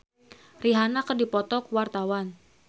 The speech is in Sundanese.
Sheila Dara Aisha jeung Rihanna keur dipoto ku wartawan